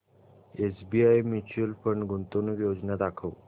SBI mutual fund गुंतवणूक योजना दाखव